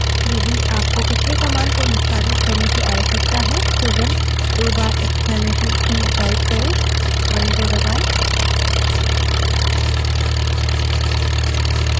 यदि आपको पिछली command को निष्पादित करने की आवश्यकता है केवल दो बार इक्स्लामेसन चिन्ह type करें और enter दबायें